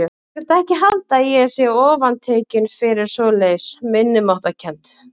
Þú skalt ekki halda að ég sé ofantekinn fyrir svoleiðis minnimáttarkennd.